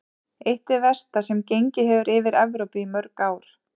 Eitt hið versta sem gengið hefur yfir Evrópu í mörg ár.